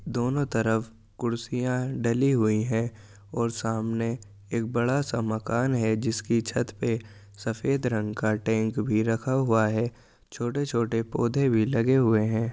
दोनों तरफ कुर्सियाँ डली हुई हैं और सामने एक बड़ा सा मकान है जिसकी छत पे सफेद रंग का टैंक भी रखा हुआ है छोटे छोटे पौधे भी लगे हुए हैं।